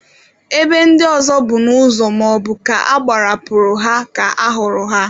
Ebe ndị ọzọ bụ n'ụzọ maọbụ ka agbarapụrụ ha ka a hụrụ ha.